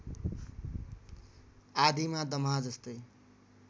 आदिमा दमाहा जस्तै